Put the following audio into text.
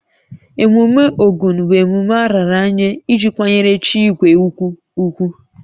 Emume Ogun bụ emume a raara nye iji kwanyere chi igwe ugwu ugwu